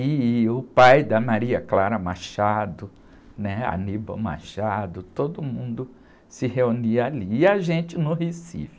e o pai da Maria Clara Machado, né? Aníbal Machado, todo mundo se reunia ali, e a gente no Recife. E...